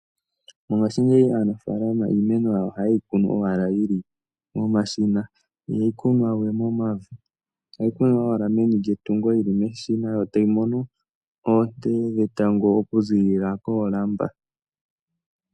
Mongashingeyi aanafalama iimeno yawo ohaye yi kunu owala yi li momashina, ihayi kunwa we momavi. Ohayi kunwa yi li meni lyetungo yi li meshina yo tayi mono oonte dhetango okuzilila koolamba.